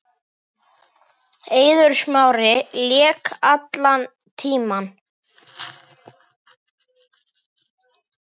Eiður Smári lék allan tímann.